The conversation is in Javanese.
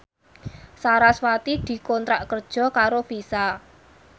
sarasvati dikontrak kerja karo Visa